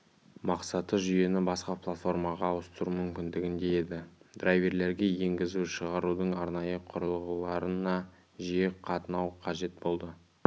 мақсаты жүйені басқа платформаға ауыстыру мүмкіндігінде еді драйверлерге енгізу-шығарудың арнайы құрылғыларына жиі қатынау қажет болады